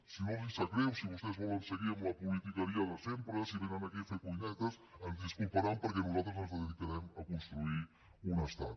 si no els sap greu si vostès volen seguir amb la politiqueria de sempre si vénen aquí a fer cuinetes ens disculparan perquè nosaltres ens dedicarem a construir un estat